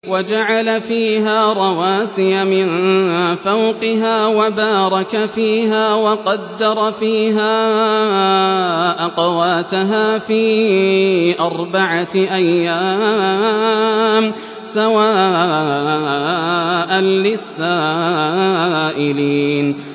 وَجَعَلَ فِيهَا رَوَاسِيَ مِن فَوْقِهَا وَبَارَكَ فِيهَا وَقَدَّرَ فِيهَا أَقْوَاتَهَا فِي أَرْبَعَةِ أَيَّامٍ سَوَاءً لِّلسَّائِلِينَ